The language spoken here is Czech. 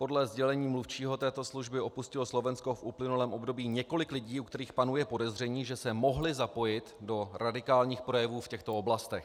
Podle sdělení mluvčího této služby opustilo Slovensko v uplynulém období několik lidí, u kterých panuje podezření, že se mohli zapojit do radikálních projevů v těchto oblastech.